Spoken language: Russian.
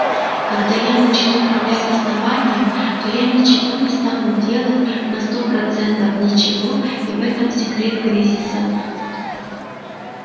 когда я начну управлять основанием то я ничего не стану делать на сто процентов ничего и в этом секрет кризиса